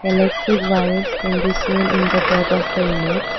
Electric wires can be seen in the top of the image.